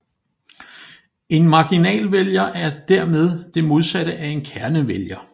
En marginalvælger er dermed det modsatte af en kernevælger